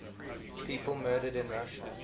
people murdered in russia